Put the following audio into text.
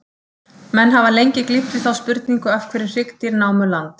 Menn hafa lengi glímt við þá spurningu, af hverju hryggdýr námu land.